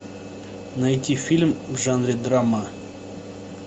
найти фильм в жанре драма